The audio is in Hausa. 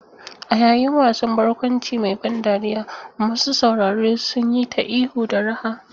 A yayin wasan barkwanci mai ban dariya, masu sauraro sun yi ta ihu da raha.